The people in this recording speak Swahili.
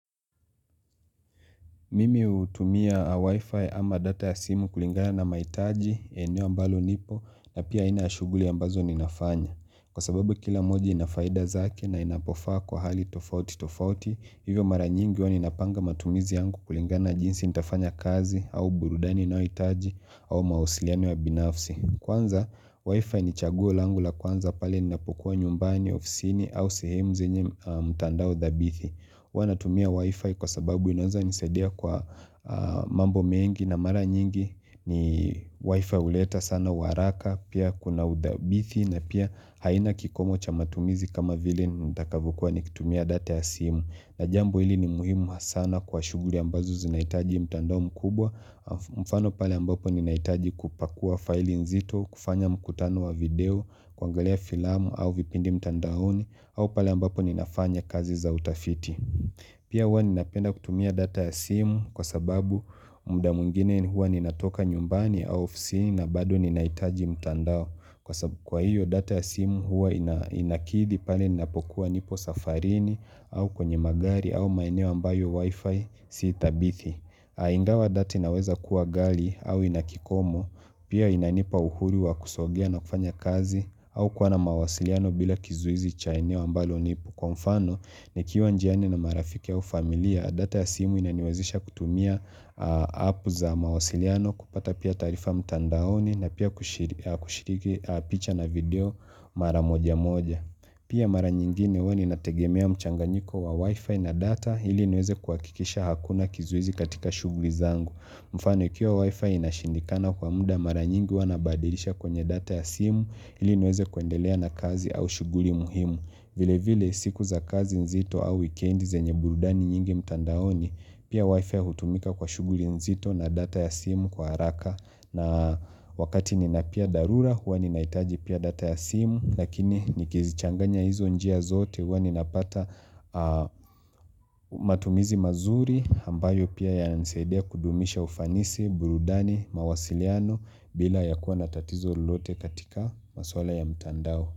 Mimi hutumia wi-fi ama data ya simu kulingana na maitaji eneo ambalo nipo na pia aina ya shuguli ambazo ninafanya. Kwa sababu kila moja ina faida zake na inapofaa kwa hali tofauti tofauti, hivyo mara nyingi waninapanga matumizi yangu kulingana jinsi nitafanya kazi au burudani ninayoitaji au mawasiliano ya binafsi. Kwanza wi-fi ni chaguo langu la kwanza pale ninapokuwa nyumbani ofisini au sehem zenye mtandao dhabithi. Wanatumia wifi kwa sababu inaweza nisadia kwa mambo mengi na mara nyingi ni wifi uleta sana waraka pia kuna udhabithi na pia haina kikomo cha matumizi kama vile nitakavokua nikitumia data ya simu na jambo hili ni muhimu hasana kwa shuguli ambazo zinaitaji mtandao mkubwa. Mfano pale ambapo ninaitaji kupakua file nzito, kufanya mkutano wa video, kuangalia filamu au vipindi mtandaoni. Au pale ambapo ninafanya kazi za utafiti. Pia huwa ninapenda kutumia data ya simu kwa sababu mda mwngine hua ninatoka nyumbani au ofsini na bado ninaitaji mtandao. Kwa sabu kwa hiyo data ya simu huwa inakidi pale napokuwa nipo safarini au kwenye magari au maeneo ambayo wifi si thabithi ingawa data inaweza kuwa gali au ina kikomo pia inanipa uhuru wa kusogea na kufanya kazi au kuwa na mawasiliano bila kizuizi cha eneo ambalo nipo. Kwa mfano, nikiwa njiani na marafiki au familia, data ya simu inaniwezisha kutumia app za mawasiliano kupata pia taarifa mtandaoni na pia kushiriki picha na video mara moja moja. Pia mara nyingine huwa ninategemea mchanganyiko wa wifi na data ili niweze kuhakikisha hakuna kizuizi katika shughuli zangu. Mfano, ikiwa wifi inashindikana kwa muda mara nyingi huwa nabadilisha kwenye data ya simu ili niweze kuendelea na kazi au shuguli muhimu. Vile vile siku za kazi nzito au wikendi zenye burudani nyingi mtandaoni pia wifi hutumika kwa shughuri nzito na data ya simu kwa haraka na wakati nina pia darura hua ninaitaji pia data ya simu lakini nikizichanganya hizo njia zote hua ninapata matumizi mazuri ambayo pia yananisaidia kudumisha ufanisi burudani mawasiliano bila ya kuwa na tatizo lolote katika masuala ya mtandao.